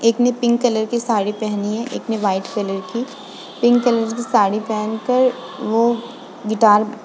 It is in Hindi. एक ने पिंक कलर की साड़ी पहनी है। एक ने वाइट कलर की पिंक कलर की साड़ी पहन कर वो गिटार --